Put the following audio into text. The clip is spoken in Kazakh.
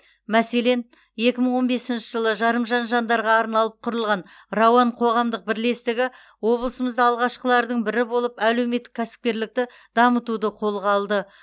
мәселен екі мың он бесінші жылы жарымжан жандарға арналып құрылған рауан қоғамдық бірлестігі облысымызда алғашқылардың бірі болып әлеуметтік кәсіпкерлікті дамытуды қолға алды